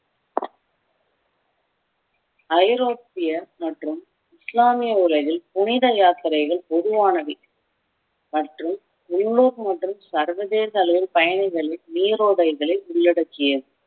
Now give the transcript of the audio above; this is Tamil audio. ஐரோப்பிய மற்றும் இஸ்லாமிய உலகில் புனித யாத்திரைகள் பொதுவானவை மற்றும் உள்ளூர் மற்றும் சர்வதேச அளவில் பயணிகளின் நீரோடைகளை உள்ளடக்கியது